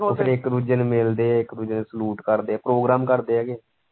ਇੱਕ ਦੂਜੇ ਨੂੰ ਮਿਲਦੇ ਇੱਕ ਦੂਜੇ ਨੂੰ salute ਕਰਦੇ program ਕਰਦੇ ਹੈ ਕਿ।